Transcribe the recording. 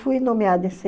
Fui nomeada esse